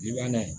I b'a na ye